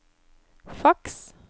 faks